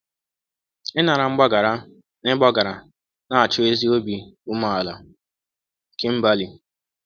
Ịnara mgbaghara na ịgbaghara na-achọ ezi obi umeala.” – Kimberly.